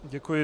Děkuji.